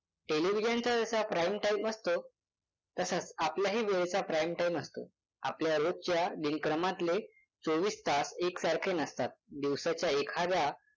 Television चा जसा prime time असतो तसाच आपल्याही वेळेचा prime time असतो. आपल्या रोजच्या दिनक्रमातले चोवीस तास एकसारखे नसतात. दिवसाच्या एखाद्या